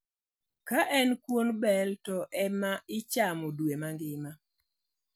Ka en kuon bel to ema ichamo dwe mangima.